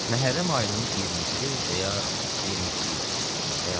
Məhərrəm ayının 20-si və ya 22-si idi, xəyalımdan çıxıb.